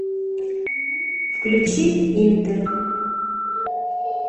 включи интер